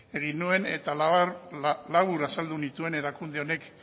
egin nuen eta labur azaldu nituen erakunde honek